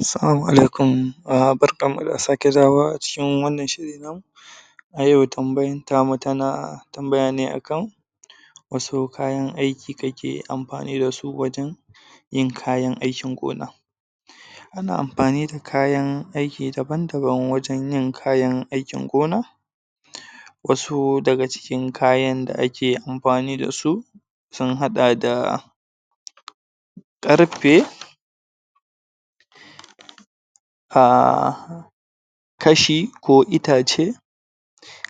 Salama alaikum barkanmu da sake dawowa a cikin wannan shiri namu ayau tambayar tamu tana tambayene akan wasu kayan aiki kake amfani da su wajen yin kayan aikin gona. Ana amfani dakayan aiki daban-daban wajen yin kayan aikin gona, wasu daga cikin kayan da ake amfani da su sun haɗa da ƙarfe aaaahh kashi ko itace,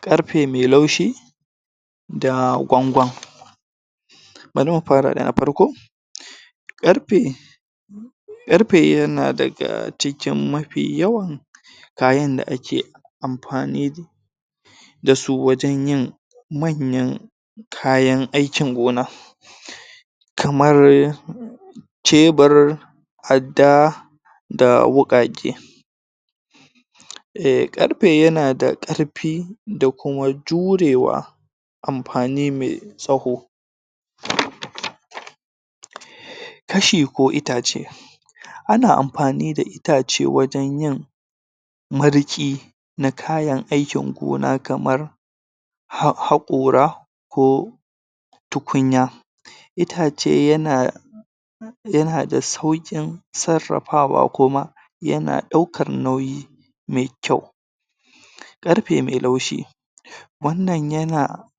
ƙarfe mai laushi, da gwangwan. Bari mu fara da na farko: Ƙarfe: Ƙarfe yana daga cikin mafi yawan kayan da ake amfani da su wajen yin manyan kayanaikin gona, kamar cebur, adda, da wuƙaƙe. Ehhh ƙarfe yana da ƙarfi da kuma jurewa amfani mai tsawo Kashi ko Itace: Ana amfani da itace wajen yin marke na kayanaikin gona kamar, haƙora, ko tukunya. Itace yana, yana da sauƙin sarrafawa kuma yana ɗaukar nauyi mai kyau. Ƙarfe mai Laushi: Wannan yana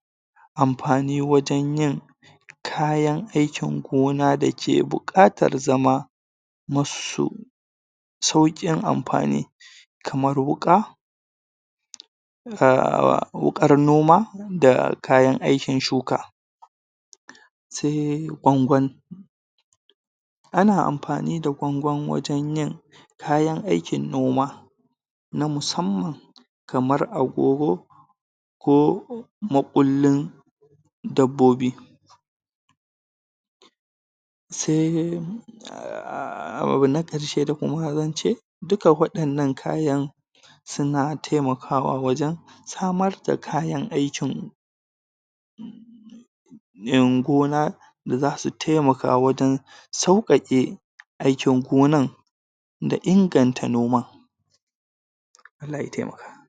amfani wajen yin kayan aikin gona da ke buƙatar zama masu saukin amfani kamar wuƙa, aahhhwuƙar noma da kayan aikin shuka. Sai Gwangwan: Ana amfani da gwangwan wajen yin kayan aikin noma na musamman kamar agogo, ko makullin dabbobi. Sai aahhh abu na ƙarshe da kuma zance duka waɗannan kayan suna taimakawa wajen samar da kayan aikin gona da zasu taimaka wajen sauƙaƙe, aikin gonar, da inganta noma. Allah i taimaka.